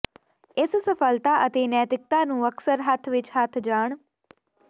ਇਸ ਸਫਲਤਾ ਅਤੇ ਨੈਤਿਕਤਾ ਨੂੰ ਅਕਸਰ ਹੱਥ ਵਿਚ ਹੱਥ ਜਾਣ